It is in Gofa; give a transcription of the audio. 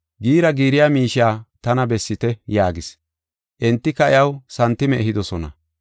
Giira giiriya miishiya tana bessite” yaagis. Entika iyaw santime ehidosona.